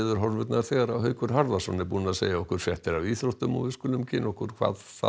veðurhorfurnar þegar Haukur Harðarson verður búinn að segja okkur fréttir af íþróttum og við skulum kynna okkur hvað